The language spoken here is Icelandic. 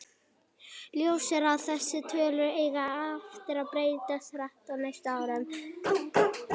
Ljóst er að þessar tölur eiga eftir að breytast hratt á næstu árum.